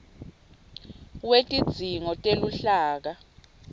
wetidzingo teluhlaka